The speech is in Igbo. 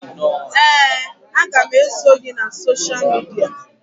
Ee, aga m eso gị na sosha midia